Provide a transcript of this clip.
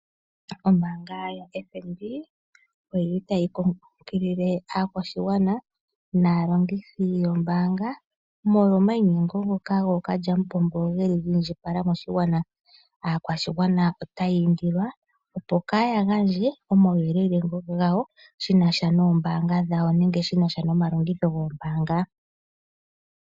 Ombanga yaFNB oyili tayi kunkilile aakwashigwana naalongithi yombanga molwa omayi nyengo ngoka go kalyamupombo geli ga indjipala . Aakwashigwana otayi indilwa opo kaya gandje omawu yelele gawo shinasha nombanga dhawo nenge shinasha noma longitho go mbanga.